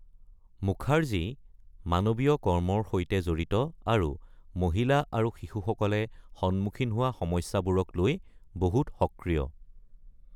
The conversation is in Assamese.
মুখাৰ্জী মানৱীয় কৰ্মৰ সৈতে জড়িত আৰু মহিলা আৰু শিশুসকলে সন্মুখীন হোৱা সমস্যাবোৰক লৈ বহুত সক্ৰিয়।